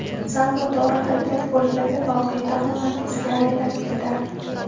Sal noto‘g‘ri harakat bo‘lganda, voqea tamoman teskari aylanib ketardi.